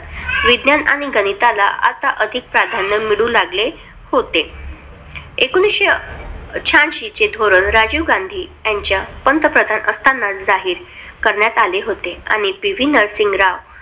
विज्ञान आणि गणिताला आता अधिक प्राधान्य मिळू लागले होते. एकोणविशे शहाऐंशी चे धोरण राजीव गांधी यांच्या पंतप्रधान असताना जारी करण्यात आले होते आणि पीव्ही नरसिंह राव